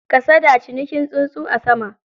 Kasada, cinikin tsuntsu a sama.